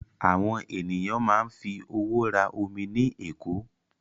Àwọn ènìyàn máa ń fi owó rà omi ní ẹ̀kọ́.